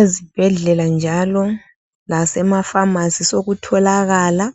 Ezibhedlela njalo lasemafamasi sokutholakala